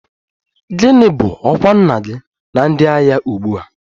Gịnị bụ ọkwa nna gị na ndị agha ugbu a?